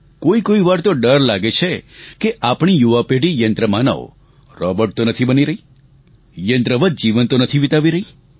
કોઈ કોઈ વાર તો ડર લાગે છે કે આપણી યુવા પેઢી યંત્ર માનવરોબોટ તો નથી બની રહી યંત્રવચ જીવન તો નથી વિતાવી રહી